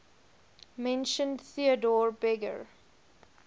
mentioned theodor berger